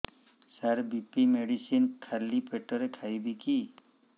ସାର BP medicine ଖାଲି ପେଟରେ ଖାଇବି କି